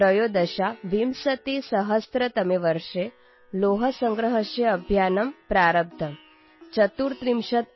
2013 ತಮೇವರ್ಷೇ ಲೋಹಸಂಗ್ರಹಸ್ಯ ಅಭಿಯಾನಮ್ ಪ್ರಾರಂಭಮ್